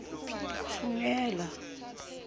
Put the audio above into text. thugela